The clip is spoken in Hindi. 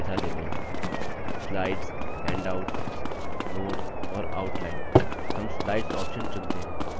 slides हैण्डआउट्स notes और outline हम slides option चुनते हैं